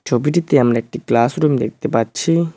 আমরা একটি ক্লাসরুম দেখতে পাচ্ছি।